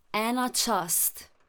Ena čast.